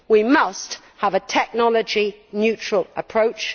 We must have a technology neutral approach.